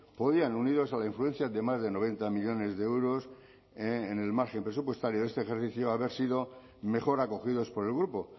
podían unidos a la influencia de más de noventa millónes de euros en el margen presupuestario de este ejercicio haber sido mejor acogidos por el grupo